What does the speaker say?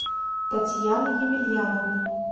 татьяны емельяновны